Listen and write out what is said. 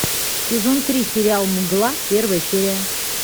сезон три сериал мгла первая серия